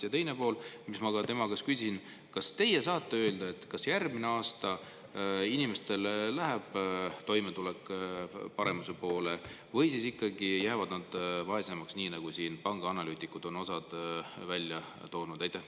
Ja teine asi, mida ma ka tema käest küsisin: kas teie saate öelda, kas järgmine aasta läheb inimeste toimetulek paremuse poole või jäävad nad vaesemaks, nii nagu osa pangaanalüütikuid on välja toonud?